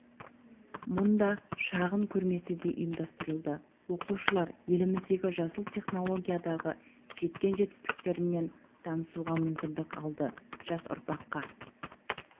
мұнда шағын көрмесі де ұйымдастырылды оқушылар еліміздегі жасыл технологиядағы жеткен жетістіктерімен танысуға мүмкіндік алды жас ұрпаққа